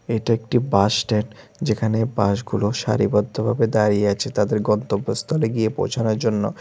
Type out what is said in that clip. এটা একটি বাসস্ট্যান্ড যেখানে বাসগুলো সারিবদ্ধভাবে দাঁড়িয়ে আছে তাদের গন্তব্য স্থলে গিয়ে পৌঁছানোর জন্য।